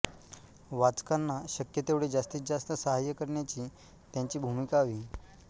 वाचकांना शक्य तेवढे जास्तीत जास्त साहाय्य करण्याची त्यांची भूमिका हवी